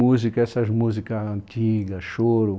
Música, essas músicas antigas, choro.